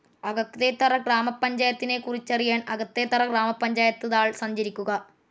അകത്തേത്തറ ഗ്രാമപഞ്ചായത്തിനെക്കുറിച്ചറിയാൻ അകത്തേത്തറ ഗ്രാമപഞ്ചായത്ത് താൾ സന്ദർശിക്കുക.